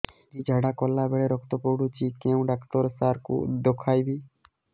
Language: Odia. ଦିଦି ଝାଡ଼ା କଲା ବେଳେ ରକ୍ତ ପଡୁଛି କଉଁ ଡକ୍ଟର ସାର କୁ ଦଖାଇବି